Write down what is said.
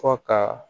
Fɔ ka